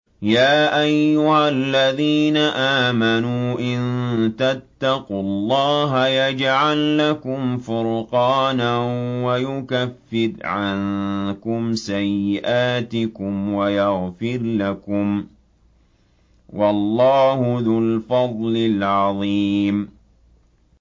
يَا أَيُّهَا الَّذِينَ آمَنُوا إِن تَتَّقُوا اللَّهَ يَجْعَل لَّكُمْ فُرْقَانًا وَيُكَفِّرْ عَنكُمْ سَيِّئَاتِكُمْ وَيَغْفِرْ لَكُمْ ۗ وَاللَّهُ ذُو الْفَضْلِ الْعَظِيمِ